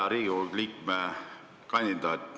Hea Riigikohtu liikme kandidaat!